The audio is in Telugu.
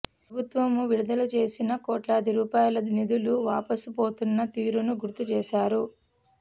ప్రభుత్వం విడుదల చేసిన కోట్లాది రూపాయల నిధులు వాపసు పోతున్న తీరును గుర్తుచేశారు